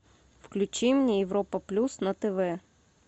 включи мне европа плюс на тв